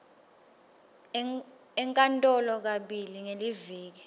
enkantolo kabili ngeliviki